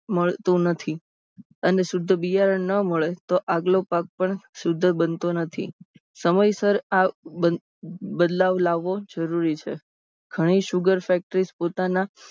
મળતું નથી. અને શુધ્ધ બિયારણ ન મળે તો આગલો પાક પણ શુધ્ધ બનતો નથી. સમયસર આ બદલાવ લાવવો જરૂરી છે. ઘણી sugar factorys પોતાના